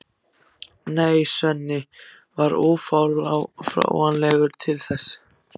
Nei, Svenni var ófáanlegur til þess.